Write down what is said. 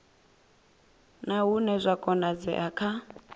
na hune zwa konadzea kha